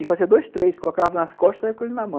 E fazia dois, três, colocava nas costas e colocava na mão.